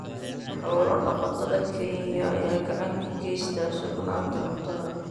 Xoolo-dhaqatada Kenya ayaa gacan ka geysta sugnaanta cuntada.